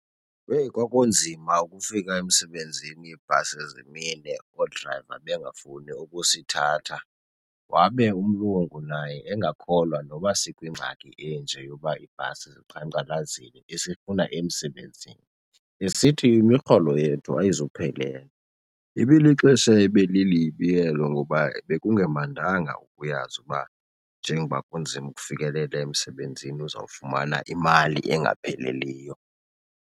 Heyi, kwakunzima ukufika emsebenzini ibhasi zimile, oodrayiva bengafuni ukusithatha. Wabe umlungu naye engakholelwa noba sikwingxaki enje yoba iibhasi ziqhankqalazile esifuna emsebenzini, esithi imirholo yethu ayizuphelela. Ibilixesha ebelilibi elo ngoba bekungemandanga ukuyazi ukuba njengoba kunzima ukufikelela emsebenzini uzawufumana imali engapheliyo.